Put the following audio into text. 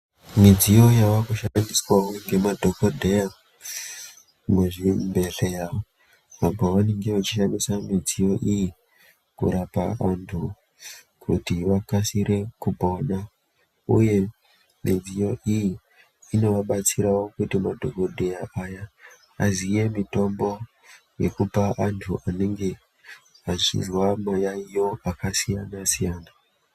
Midziyo yaakushandiswao ngemadhokodheya muzvibehlera pavanenge vachishandise midziyo iyi kurapa vanthu kuti vakasire kupona , uye midziyo iyi inovabatsirawo kuti vape mitombo kuvanthu vanenge veizwawo mayaiyo akasiyana - siyana .